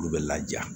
Olu bɛ laja